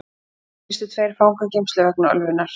Þá gistu tveir fangageymslur vegna ölvunar